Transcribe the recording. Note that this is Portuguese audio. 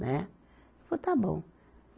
Né. Falou, está bom.